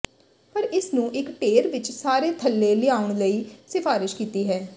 ਪਰ ਇਸ ਨੂੰ ਇੱਕ ਢੇਰ ਵਿਚ ਸਾਰੇ ਥੱਲੇ ਲਿਆਉਣ ਲਈ ਸਿਫਾਰਸ਼ ਕੀਤੀ ਹੈ